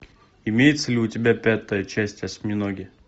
имеется ли у тебя пятая часть осьминоги